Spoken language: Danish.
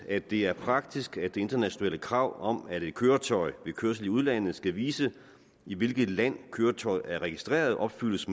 at det er praktisk at det internationale krav om at et køretøj ved kørsel i udlandet skal vise i hvilket land køretøjet er registreret opfyldes